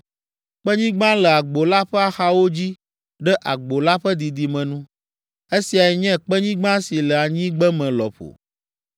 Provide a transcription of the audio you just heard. Kpenyigba le agbo la ƒe axawo dzi ɖe agbo la ƒe didime nu. Esiae nye kpenyigba si le anyigbeme lɔƒo.